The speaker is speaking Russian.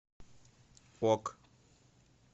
ок